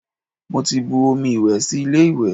Mo ti bu omi ìwẹ̀ sí ilé ìwẹ̀